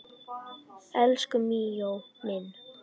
Elsku Míó minn